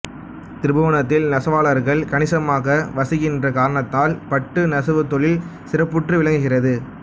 திருப்புவனத்தில் நெசவாளர்கள் கணிசமாக வசிக்கின்ற காரணத்தால் பட்டு நெசவுத் தொழில் சிறப்புற்று விளங்குகிறது